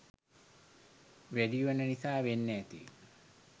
වැඩිවෙන නිසා වෙන්න ඇති